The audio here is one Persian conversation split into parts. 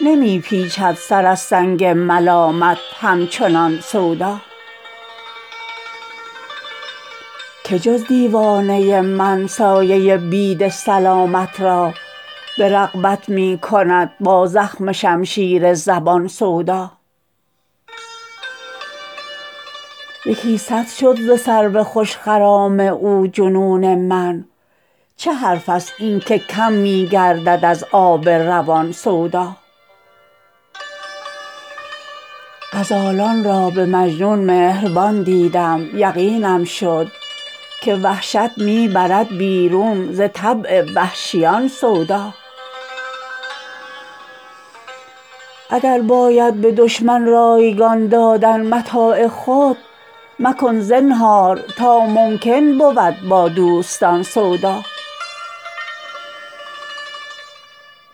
نمی پیچد سر از سنگ ملامت همچنان سودا که جز دیوانه من سایه بید سلامت را به رغبت می کند با زخم شمشیر زبان سودا یکی صد شد ز سرو خوش خرام او جنون من چه حرف است این که کم می گردد از آب روان سودا غزالان را به مجنون مهربان دیدم یقینم شد که وحشت می برد بیرون ز طبع وحشیان سودا اگر باید به دشمن رایگان دادن متاع خود مکن زنهار تا ممکن بود با دوستان سودا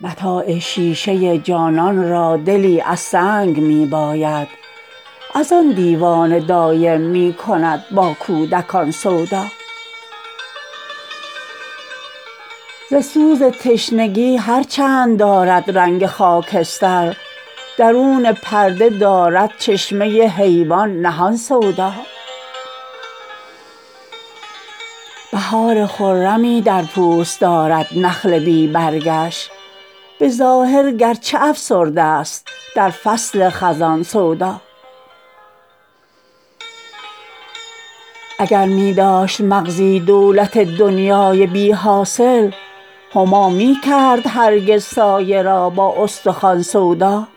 متاع شیشه جانان را دلی از سنگ می باید از آن دیوانه دایم می کند با کودکان سودا ز سوز تشنگی هر چند دارد رنگ خاکستر درون پرده دارد چشمه حیوان نهان سودا بهار خرمی در پوست دارد نخل بی برگش به ظاهر گرچه افسرده است در فصل خزان سودا اگر می داشت مغزی دولت دنیای بی حاصل همامی کرد هرگز سایه را با استخوان سودا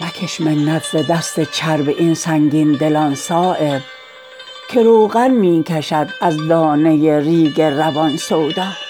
مکش منت ز دست چرب این سنگین دلان صایب که روغن می کشد از دانه ریگ روان سودا